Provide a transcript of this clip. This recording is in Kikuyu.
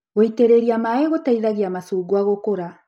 Gũitĩrĩria maĩ gũteithagia macungwa gũkũra.